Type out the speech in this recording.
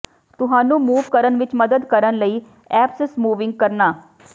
ਤੁਹਾਨੂੰ ਮੂਵ ਕਰਨ ਵਿੱਚ ਮਦਦ ਕਰਨ ਲਈ ਐਪਸ ਮੂਵਿੰਗ ਕਰਨਾ